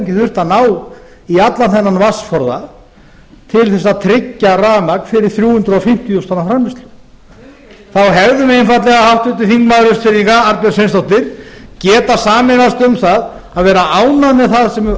þurft að ná í allan þennan vatnsforða til að tryggja rafmagn fyrir þrjú hundruð fimmtíu þúsund tonna framleiðslu þá hefðum við einfaldlega háttvirtur þingmaður austfirðinga arnbjörg sveinsdóttir getað sameinast um það að vera ánægð með það